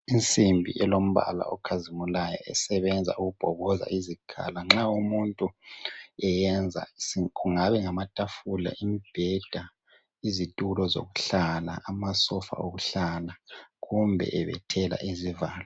Insimbi elombala okhazimulayo esebenza ukubhoboza izikhala nxa umuntu eyenza kungabe ngamatafula imibheda izitulo zokuhlala amasofa okuhlala kumbe ebethela izivalo